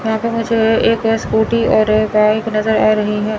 यहां पे मुझे एक स्कूटी और एक बाइक नज़र आ रही है।